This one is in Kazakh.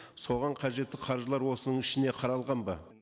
соған қажетті қаржылар осының ішінен қаралған ба